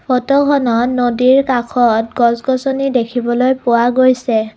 ফটোখনত নদীৰ কাষত গছ-গছনি দেখিবলৈ পোৱা গৈছে।